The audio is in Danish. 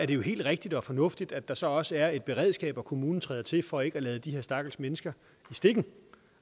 det helt rigtigt og fornuftigt at der så også er et beredskab og at kommunen træder til for ikke at lade de her stakkels mennesker i stikken